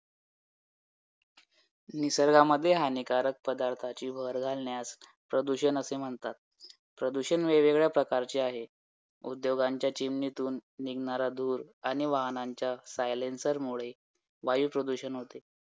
Polity तर लक्ष्मीकांत झिंदाबाद कारण आयोगाला लक्ष्मीकांत एवढा आवडतो एवढा आवडतो की आयोग लक्ष्मीकांत शिवाय प्रश्न विचारतच नाही